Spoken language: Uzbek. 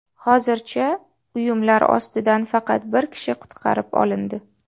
Hozircha uyumlar ostidan faqat bir kishi qutqarib olindi.